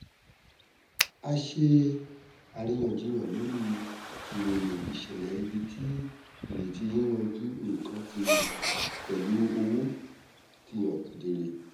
a ṣe àríyànjiyàn lórí ìròyìn ìṣẹlẹ ibi tí ìrètí yíyanjú nnkan pẹlú owó ti hàn kedere